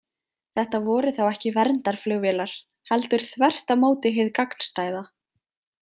Þetta voru þá ekki verndarflugvélar, heldur þvert á móti hið gagnstæða.